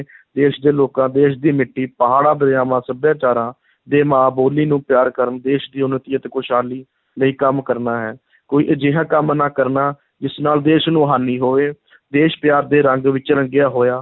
ਦੇਸ਼ ਦੇ ਲੋਕਾਂ, ਦੇਸ਼ ਦੀ ਮਿੱਟੀ, ਪਹਾੜਾਂ, ਦਰਿਆਵਾਂ, ਸੱਭਿਆਚਾਰਾਂ ਦੇ ਮਾਂ ਬੋਲੀ ਨੂੰ ਪਿਆਰ ਕਰਨ, ਦੇਸ਼ ਦੀ ਉੱਨਤੀ ਅਤੇ ਖੁਸ਼ਹਾਲੀ ਲਈ ਕੰਮ ਕਰਨਾ ਹੈ, ਕੋਈ ਅਜਿਹਾ ਕੰਮ ਨਾ ਕਰਨਾ, ਜਿਸ ਨਾਲ ਦੇਸ਼ ਨੂੰ ਹਾਨੀ ਹੋਵੇ ਦੇਸ਼ ਪਿਆਰ ਦੇ ਰੰਗ ਵਿੱਚ ਰੰਗਿਆ ਹੋਇਆ